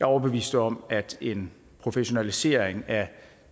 overbevist om at en professionalisering af